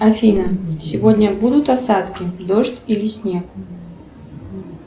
афина сегодня будут осадки дождь или снег